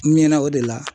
N ɲɛnɛ o de la